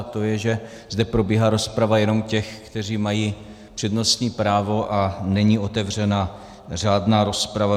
A to je, že zde probíhá rozprava jenom těch, kteří mají přednostní právo, a není otevřena řádná rozprava.